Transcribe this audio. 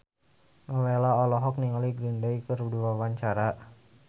Nowela olohok ningali Green Day keur diwawancara